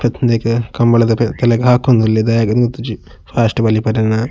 ಪೆತ್ ಹ ಉಂದೆಕ್ ಕಂಬಳದ ಪೆತ್ತಲೆಗ್ ಹಾಕೊಂದುಲ್ಲೆರ್ ದಾಯೆಗ್ ಇಂದ್ ಗೊತ್ತಿಜ್ಜಿ ಫಾಸ್ಟ್ ಬಲಿಪರೆನಾ.